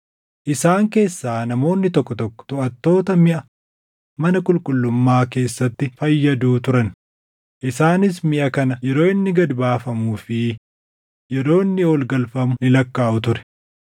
Isaan keessaa namoonni tokko tokko toʼattoota miʼa mana qulqullummaa keessatti fayyaduu turan; isaanis miʼa kana yeroo inni gad baafamuu fi yeroo inni ol galfamu ni lakkaaʼu ture.